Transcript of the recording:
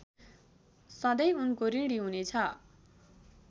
सधैँ उनको ऋणी हुनेछ